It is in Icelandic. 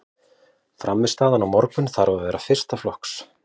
Frammistaðan á morgun þarf að vera fyrsta flokks.